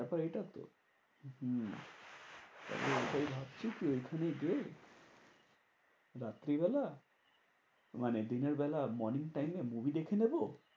ব্যাপার এটা তো। হম এইটাই ভাবছি কি ওইখানে গিয়ে, রাত্রিবেলা মানে দিনেরবেলা morning time এ movie দেখে নেবো।